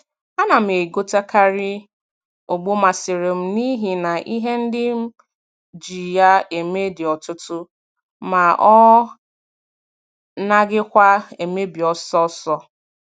A na m e gotekari ogbo masịrị m n'ihi na ihe ndị m ji ya eme dị ọtụtụ ma ọ naghịkwa emebi ọsọọsọ